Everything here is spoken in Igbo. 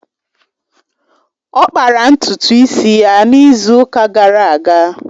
Ọ kpara ntutu isi ya n'izu ụka gara aga